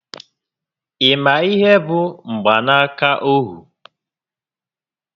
Ị ma ihé bụ mgbanaka ohu?